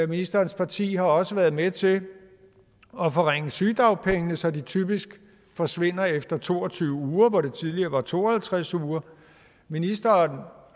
ministerens parti har også været med til at forringe sygedagpengene så de typisk forsvinder efter to og tyve uger hvor det tidligere var to og halvtreds uger ministeren